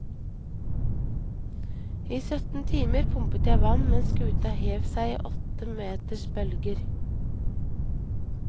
I sytten timer pumpet jeg vann mens skuta hev seg i åtte meters bølger.